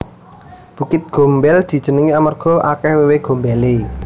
Bukit Gombel dijenengi amarga akeh wewe gombele